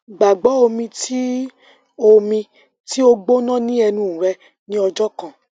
gbagbo omi ti o omi ti o gbona ni ẹnu rẹ ni ọjọ kan